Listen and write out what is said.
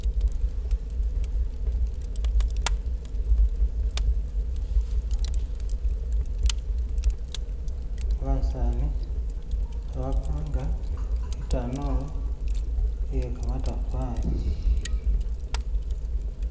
"<skip>"basaani khebapanga itanulu iyekamatafali